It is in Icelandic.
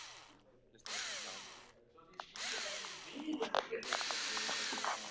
Það er mjög gott með.